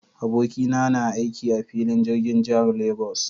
Abokina na na aiki a filin jirgin jihar Lagos.